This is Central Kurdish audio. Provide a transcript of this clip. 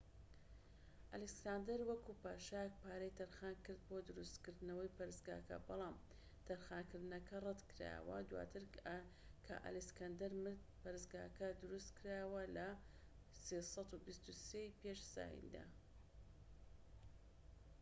ئەلێکساندەر، وەکو پاشایەك پارەی تەرخانکرد بۆ دروستکردنەوەی پەرستگاکە، بەڵام ئەم تەرخانکردنە ڕەت کرایەوە. دواتر کە ئەلیکساندەر مرد، پەرستگاکە دروستکرایەوە لە ٣٢٣ ی پێش زایندا